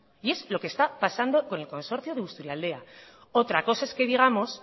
y es lo que está pasando con el consorcio de busturialdea otra cosa es que digamos